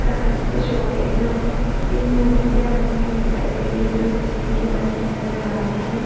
काँच के शोकेश में तीन मूर्तियाँ बनी हुई दिखाई दे रही है जो स्टील की बनी हुई नज़र आ रही हैं ।